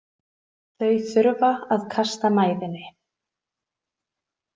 Þau þurfa að kasta mæðinni.